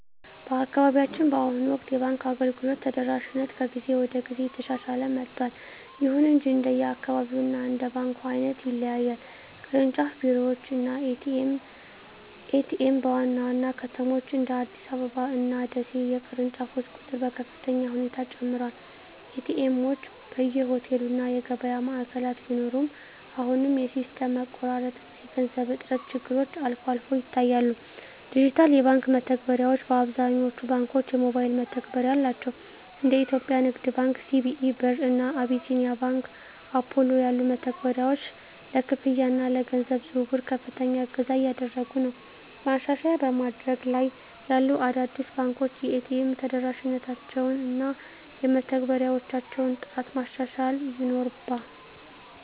በአካባቢያችን በአሁኑ ወቅት የባንክ አገልግሎት ተደራሽነት ከጊዜ ወደ ጊዜ እየተሻሻለ መጥቷል። ይሁን እንጂ እንደየአካባቢው እና እንደ ባንኩ ዓይነት ይለያያል። ቅርንጫፍ ቢሮዎች እና ኤ.ቲ.ኤም (ATM): በዋና ዋና ከተሞች (እንደ አዲስ አበባ እና ደሴ) የቅርንጫፎች ቁጥር በከፍተኛ ሁኔታ ጨምሯል። ኤ.ቲ. ኤምዎች በየሆቴሉ እና የገበያ ማዕከላት ቢኖሩም፣ አሁንም የሲስተም መቋረጥ እና የገንዘብ እጥረት ችግሮች አልፎ አልፎ ይታያሉ። ዲጂታል የባንክ መተግበሪያዎች: አብዛኞቹ ባንኮች የሞባይል መተግበሪያ አላቸው። እንደ የኢትዮጵያ ንግድ ባንክ (CBE Birr) እና አቢሲኒያ ባንክ (Apollo) ያሉ መተግበሪያዎች ለክፍያ እና ለገንዘብ ዝውውር ከፍተኛ እገዛ እያደረጉ ነው። ማሻሻያ በማደግ ላይ ያሉ አዳዲስ ባንኮች የኤ.ቲ.ኤም ተደራሽነታቸውን እና የመተግበሪያዎቻቸውን ጥራት ማሻሻል ይኖርባ